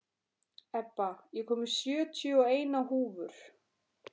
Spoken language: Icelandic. Ebba, ég kom með sjötíu og eina húfur!